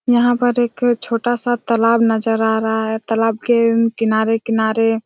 यहाँ पर एक छोटा-सा तालाब नज़र आ रहा हैं तालाब के अम्म किनारे-किनारे--